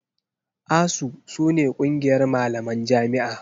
ASUU su ne ƙungiyar malaman jami'a.